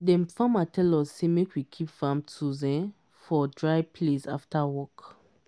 dem farmer tell us say make we keep farm tools um for dry place after work.